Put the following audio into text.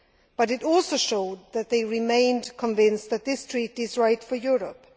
But it also showed that they remained convinced that this Treaty is right for Europe.